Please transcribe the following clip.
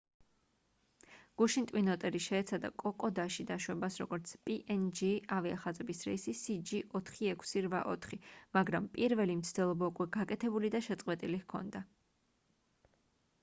გუშინ ტვინ ოტერი შეეცადა კოკოდაში დაშვებას როგორც png ავიახაზების რეისი cg4684 მაგრამ პირველი მცდელობა უკვე გაკეთებული და შეწყვეტილი ჰქონდა